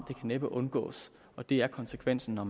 kan næppe undgås det er konsekvensen når